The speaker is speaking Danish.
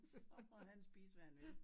Så må han spise hvad han vil